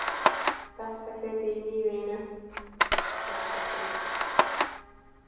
Besta kryddið í lífi þínu.